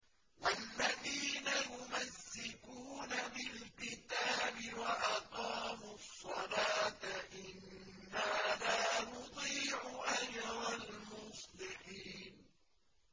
وَالَّذِينَ يُمَسِّكُونَ بِالْكِتَابِ وَأَقَامُوا الصَّلَاةَ إِنَّا لَا نُضِيعُ أَجْرَ الْمُصْلِحِينَ